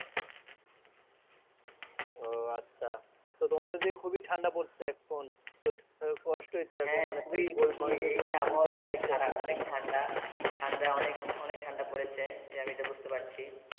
ও আচ্ছা তো আমাদের ওই খুবই ঠান্ডা পড়ছে এখন হ্যা খুবি আবাহাওয়া এতোই খারাপ ঠান্ডা অনেক ঠান্ডা পড়েছে আমি এটা বোঝতে পারছি।